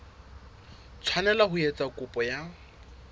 tshwanela ho etsa kopo ya